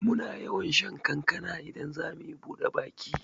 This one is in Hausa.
Muna yawan shan kankana idan zamuyi buɗe baki